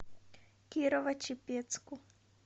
кирово чепецку